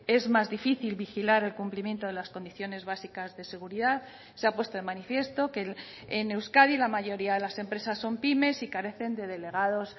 es más difícil vigilar el cumplimiento de las condiciones básicas de seguridad se ha puesto de manifiesto que en euskadi la mayoría de las empresas son pymes y carecen de delegados